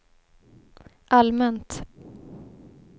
allmänt